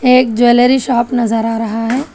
एक jewellery shop नजर आ रहा है।